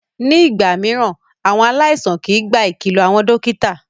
Ní ìgbà mìíràn, àwọn aláìsàn kìí gba ìkìlọ àwọn dókítà.